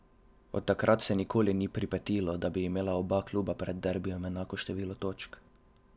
Od takrat se nikoli ni pripetilo, da bi imela oba kluba pred derbijem enako število točk.